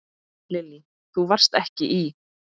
Lillý: Þú varst ekki í?